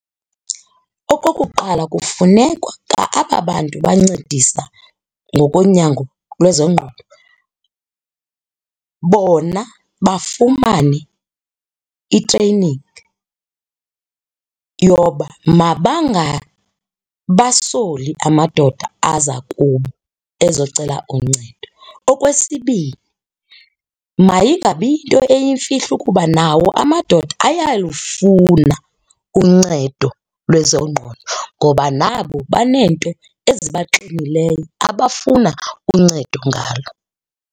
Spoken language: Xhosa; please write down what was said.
Okokuqala kufunekwa kwa aba bantu bancedisa ngokonyango lwezengqondo bona bafumane i-training yoba mabangabasoli amadoda aza kubo ezocela uncedo. Okwesibini, mayingabi yinto yimfihlo ukuba nawo amadoda ayalufuna uncedo lwezengqondo ngoba nabo baneento ezibaxinileyo abafuna uncedo ngalo.